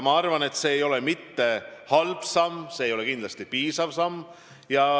Ma arvan, et see ei ole mitte halb samm, aga see ei ole kindlasti piisav samm.